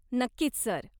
नक्कीच सर.